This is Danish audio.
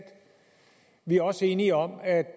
vi er også enige om at